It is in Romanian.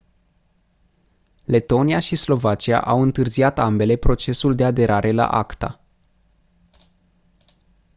letonia și slovacia au întârziat ambele procesul de aderare la acta